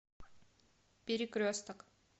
перекресток